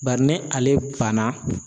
Bari ni ale banna.